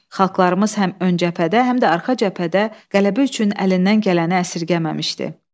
Xalqlarımız həm ön cəbhədə, həm də arxa cəbhədə qələbə üçün əlindən gələni əsirgəməmişdi.